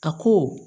A ko